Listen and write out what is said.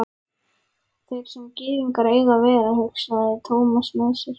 Þar sem gyðingar eiga að vera, hugsaði Thomas með sér.